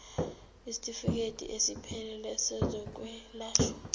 isitifikedi esiphelele sezokwelashwa